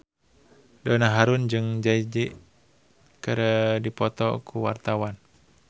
Donna Harun jeung Jay Z keur dipoto ku wartawan